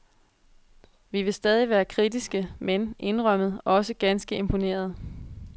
Vi vil stadig være kritiske, men, indrømmet, også ganske imponerede.